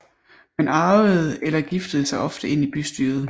Man arvede eller giftede sig ofte ind i bystyret